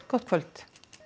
gott kvöld